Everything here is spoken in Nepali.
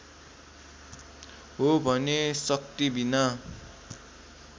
हो भने शक्तिबिना